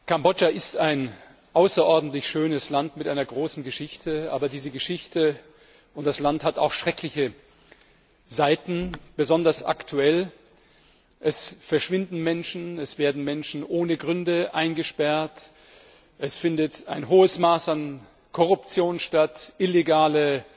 Kambodscha ist ein außerordentlich schönes Land mit einer großen Geschichte, aber diese Geschichte und das Land haben auch schreckliche Seiten. Besonders aktuell Es verschwinden Menschen, es werden Menschen ohne Gründe eingesperrt, es findet ein hohes Maß an Korruption statt, illegale